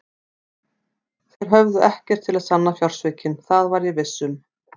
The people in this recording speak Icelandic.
Þeir höfðu ekkert til að sanna fjársvikin, það var ég viss um.